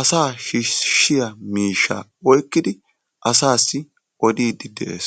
asa shiishshiyaa miishsha oyqqidi asaasi odiddi dees.